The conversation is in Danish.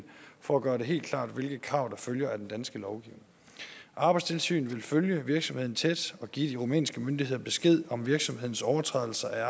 for gøre det helt klart hvilke krav der følger af den danske lovgivning arbejdstilsynet vil følge virksomheden tæt og give de rumænske myndigheder besked om virksomhedens overtrædelser af